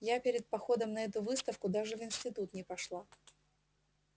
я перед походом на эту выставку даже в институт не пошла